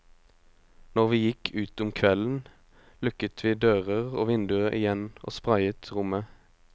Når vi gikk ut om kvelden lukket vi dører og vinduer igjen og sprayet rommet.